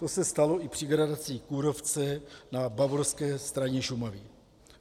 To se stalo i při gradaci kůrovce na bavorské straně Šumavy.